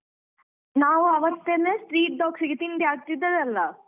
ನಾವು ಅವತ್ತೇನೆ street dogs ಗೆ ತಿಂಡಿ ಹಾಕ್ತಿದ್ದದ್ದಲ್ಲ.